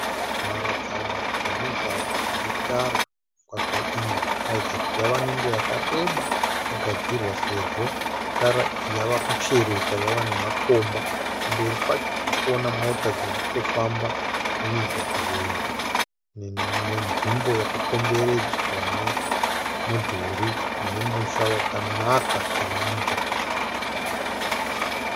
Mharadzano yemugwagwa unetara, migwagwa iyi inoratidza kuti yava nenguva yakareba yagadzirwa sezvo tara iyi yava kuchereka yava nemakomba kumberi kwacho tirikuona mota dzirikutofamba mumugwagwa uyu nenzvimbo yakakomberedzwa nemudhuri unemusha wakanaka chaizvo.